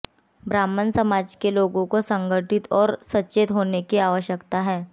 ब्राह्मण समाज के लोगों को संगठित और सचेत होने की आवश्यकता है